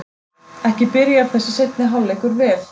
Ekki byrjar þessi seinni hálfleikur vel!